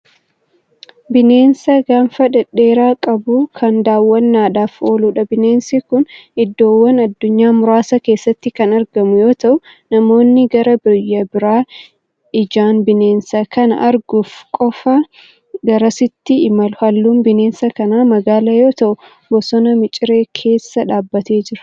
Bineensa gaanfa dhedheeraa qabu Kan daaw'annaadhaf ooludha. bineensi Kuni iddoowwan addunyaa muraasa keessatti Kan argamu yoo ta'u namoonni gara biraa ijaan bineensa Kan arguuf qafa garasaatti imalu. halluun bineensa kanaa magaala yoo ta'u bosona miciree keessa dhaabbatee Jira.